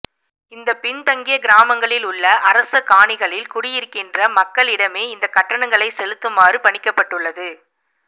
இந்த பின்தங்கிய கிராமங்களில் உள்ள அரச காணிகளில் குடியிருக்கின்ற மக்களிடமே இந்த கட்டணங்களை செலுத்துமாறு பணிக்கப்பட்டுள்ளது